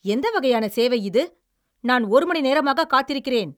எந்த வகையான சேவை இது? நான் ஒரு மணி நேரமாகக் காத்திருக்கிறேன்!